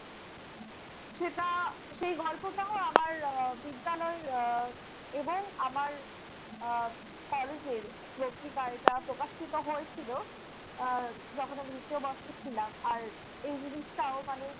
সেটা~ সেই গল্পটাও আবার আহ বিদ্যালয়ের আহ এবং আমার আহ কলেজের পত্রিকায় এটা প্রকাশিত হয়েছিল আহ যখন আমি দ্বিতীয় বর্ষে ছিলাম। আর এই জিনিসটাও মানে